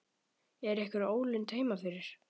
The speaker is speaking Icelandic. Er einhver ólund heima fyrir?